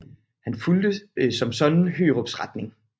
Han fulgte som sådan Hørups retning